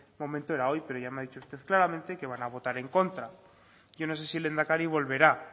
momento era hoy pero ya me ha dicho usted claramente que van a votar en contra yo no sé si el lehendakari volverá